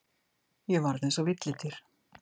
Ég varð eins og villidýr.